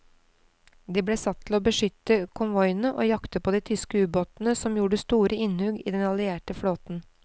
De ble satt til å beskytte konvoiene og jakte på de tyske ubåtene som gjorde store innhugg i den allierte flåten.